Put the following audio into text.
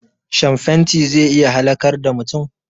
Shan fenti zai iya halakar da mutum